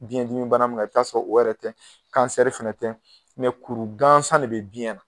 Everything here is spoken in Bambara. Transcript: Biyɛn dimi bana min ka i bi taa'a sɔrɔ o yɛrɛ tɛ, fɛnɛ tɛ kuru gansan de be biyɛn na.